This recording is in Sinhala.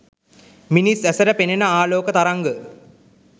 මිනිස් ඇසට පෙනෙන ආලෝක තරංග